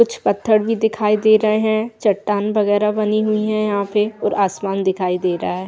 कुछ पत्थर भी दिखाई दे रहे हैं चट्टान वगैरा बनी हुई है यहाँ पे और आसमान दिखाई दे रहा है।